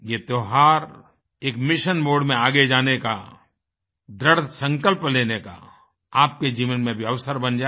यह त्योहार एक मिशन मोडे में आगे जाने का दृढ़ संकल्प लेने का आपके जीवन में भी अवसर बन जाए